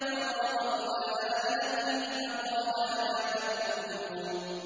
فَرَاغَ إِلَىٰ آلِهَتِهِمْ فَقَالَ أَلَا تَأْكُلُونَ